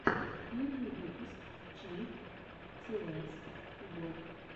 первый выпуск чинк цеэс го